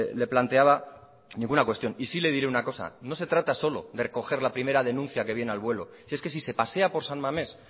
le planteaba ninguna cuestión y sí le diré una cosa no se trata solo de recoger la primera denuncia que viene al vuelo si es que si se pasea por san mamés